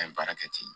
An ye baara kɛ ten